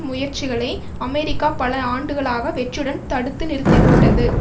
முயற்சிகளை அமெரிக்கா பல ஆண்டுகளாக வெற்றியுடன் தடுத்து நிறுத்தி விட்டது